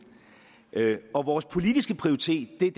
og vores politiske prioritet er